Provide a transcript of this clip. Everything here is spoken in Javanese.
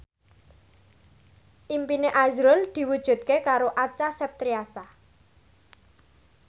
impine azrul diwujudke karo Acha Septriasa